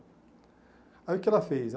Aí o que ela fez?